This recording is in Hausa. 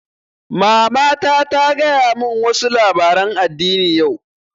Mamata ta gaya mun wa su labaren addini yau